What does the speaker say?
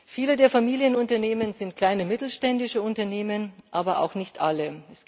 Viele der Familienunternehmen sind kleine mittelständische Unternehmen, aber nicht alle.